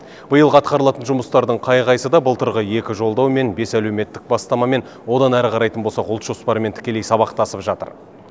биылғы атқарылатын жұмыстардың қай қайсы да былтырғы екі жолдау мен бес әлеуметтік бастамамен одан ары қарайтын болсақ ұлт жоспарымен тікелей сабақтасып жатыр